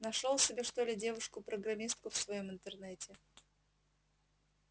нашёл себе что ли девушку-программистку в своём интернете